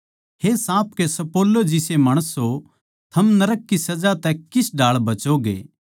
हे साँप के सप्पोलों जिसे माणसों थम नरक की सजा तै किस ढाळ बचोगे